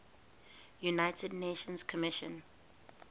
united nations commission